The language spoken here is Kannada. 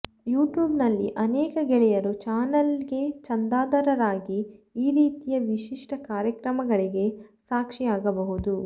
ಯೂಟ್ಯೂಬ್ ನಲ್ಲಿ ಅನೇಕ ಗೆಳೆಯರು ಚಾನೆಲೆ ಗೆ ಚಂದಾದಾರರಾಗಿ ಈ ರೀತಿಯ ವಿಶಿಷ್ಟ ಕಾರ್ಯಕ್ರಮಗಳಿಗೆ ಸಾಕ್ಷಿಯಾಗಬಹುದು